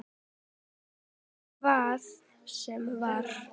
Ég kvað svo vera.